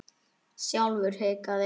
Sjálfur hikaði